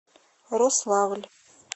рославль